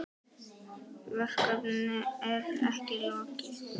Verkinu er ekki lokið.